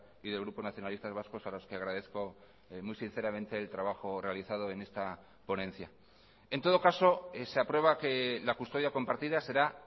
y del grupo nacionalistas vascos a los que agradezco muy sinceramente el trabajo realizado en esta ponencia en todo caso se aprueba que la custodia compartida será